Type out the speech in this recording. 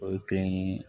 O ye kelen ye